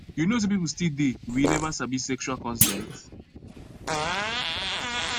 you know say people still dey we never sabi sexual consent